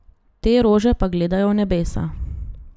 Te rože pa gledajo v nebesa.